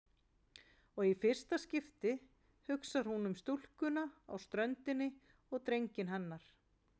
Og í fyrsta skipti hugsar hún um stúlkuna á ströndinni og drenginn hennar.